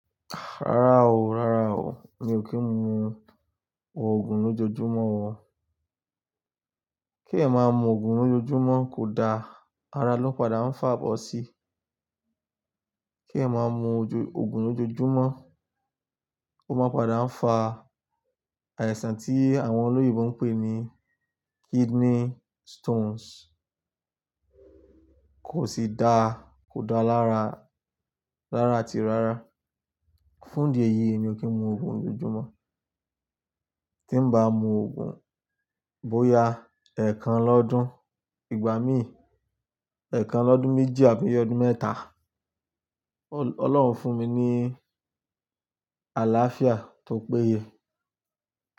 Rárá o, rárá o, mi ò kí ń mu Òògùn lójoojúmọ́ o. Kí èeyan máa mu Òògùn lójoojúmọ́ kò da, ara ló padà ń fa bọ sí. Kí èeyan máa mu òjo- òògùn lójoojúmọ́, ó máa n padà ń fa àìsàn tí àwọn olóyinbo ń pè ní kidney stones. Kò sì da, kò da lára- rára àti rárá. Fún ìdí èyí èmi ò kí ń mu Òògùn lójoojúmọ́. Tí ń bá mu Òògùn bóya ẹ̀kan lọ́dún, ìgbà míì ẹ̀kan lọ́dún méjì àbí i ọdún mẹ́ta, Ọ-Ọlọ́run fún mi ní àlàáfíà tó péye.